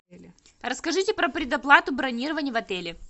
расскажите про предоплату бронирования в отеле